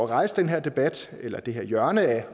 rejse den her debat eller det her hjørne af